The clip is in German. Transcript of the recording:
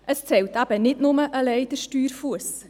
Es zählt eben nicht allein der Steuerfuss.